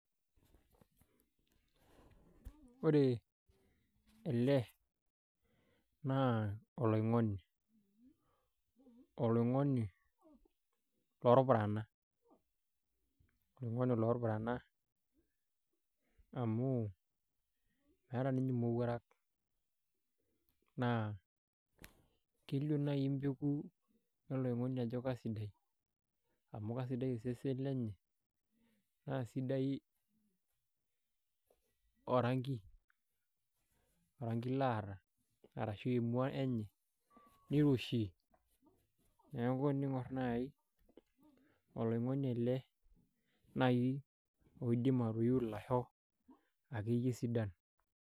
Ore ele naa oloing'oni loorpurana oloing'oni loorpurana amu meeta ninye imowuarak naa kelio naani empeku oloing'oni ajo kaiisidai amu kaisidai osesen lenye naa sidai orangi oranki laata arashuu emua enye niroshi neeku ening'or naai oloing'oni ele naai oidim atoiu ilasho akeyie sidan.